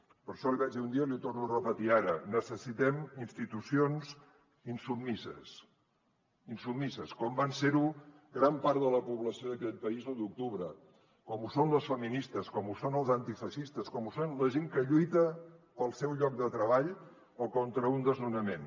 per això l’hi vaig dir un dia i l’hi torno a repetir ara necessitem institucions insubmises insubmises com va ser ho gran part de la població d’aquest país l’u d’octubre com ho són les feministes com ho són els antifeixistes com ho són la gent que lluita pel seu lloc de treball o contra un desnonament